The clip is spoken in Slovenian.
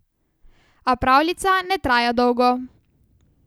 A pravljica ne traja dolgo.